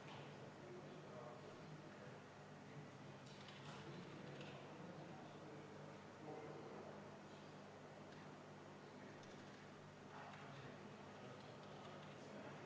Ma arvan, et üldpõhimõte on see, et ei läänes ega Eestis jää see tasu maksmata, seda püütakse kätte saada.